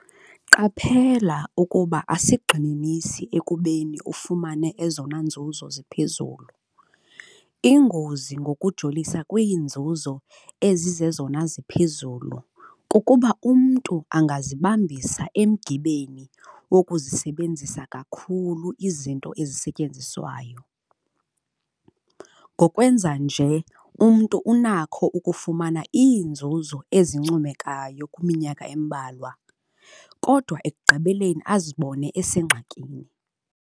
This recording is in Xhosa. Qaphela ukuba asigxininisi ekubeni ufumane ezona nzuzo ziphezulu. Ingozi ngokujolisa kwiinzuzo ezizezona ziphezulu kukuba umntu angazibambisa emgibeni wokuzisebenzisa kakhulu izinto ezisetyenziswayo. Ngokwenza nje umntu unakho ukufumana iinzuzo ezincomekayo kwiminyaka embalwa, kodwa ekugqibeleni azibone esengxakini.